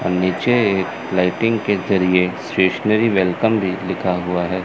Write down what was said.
और नीचे लाइटिंग के जरिए स्टेशनरी वेलकम भी लिखा हुआ है।